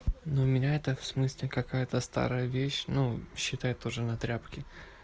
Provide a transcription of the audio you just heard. ну меня это в смысле какая-то старая вещь ну считай тоже на тряпке